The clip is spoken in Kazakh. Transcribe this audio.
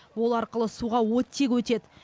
ол арқылы суға оттегі өтеді